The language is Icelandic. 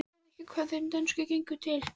Sérðu ekki hvað þeim dönsku gengur til?